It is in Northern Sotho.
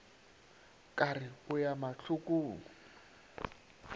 ka re o ya mahlokong